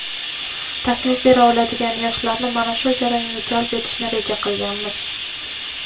taklif bera oladigan yoshlarni mana shu jarayonga jalb etishni reja qilganmiz.